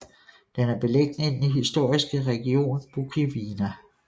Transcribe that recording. Den er beliggende i den historiske region Bukovina